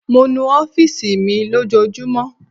Mo nu ọfiisi mi lojoojumọ